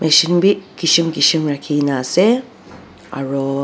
machine bi kichum kichum rakhi na ase aro.